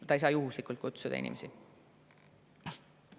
Ta ei saa kutsuda juhuslikke inimesi.